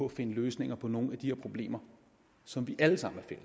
at finde løsninger på nogle af de her problemer som vi alle sammen er